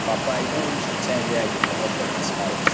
papa e don reach the time wey i go comot from dis house